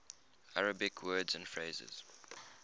arabic words and phrases